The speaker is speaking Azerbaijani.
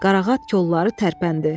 Qarağat kolları tərpəndi.